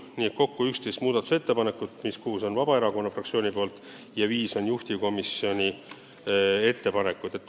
Nii et kokku on 11 muudatusettepanekut, millest kuus on Vabaerakonna omad ja viis juhtivkomisjoni omad.